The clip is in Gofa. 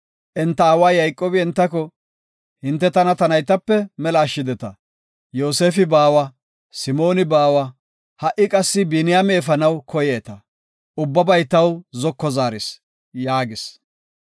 Enta aawa Yayqoobi entako, “Hinte tana ta naytape mela ashshideta. Yoosefi baawa, Simooni baawa, ha7i qassi Biniyaame efanaw koyeeta. Ubbabay taw zoko zaaris” yaagis.